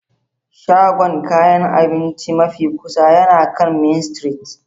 Shagon kayan abinci mafi kusa yana kan Main Street.